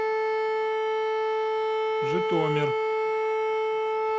житомир